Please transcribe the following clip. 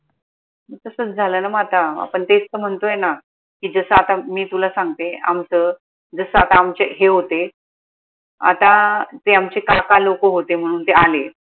तसच झालाय न म आता आपन तेच त म्हनतोय ना की जस आता मी तुला सांगते आमचं जस आता आमचे हे होते आता ते आमचे काका लोक होते म्हनून ते आले